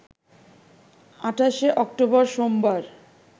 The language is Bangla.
২৮শে অক্টোবর সোমবার